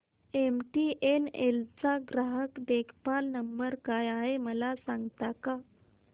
MTNL चा ग्राहक देखभाल नंबर काय आहे मला सांगता का